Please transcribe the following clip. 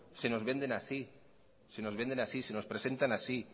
se nos venden así se nos presentan así